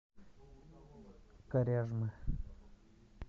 коряжмы